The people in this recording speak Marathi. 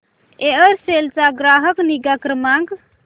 एअरसेल चा ग्राहक निगा क्रमांक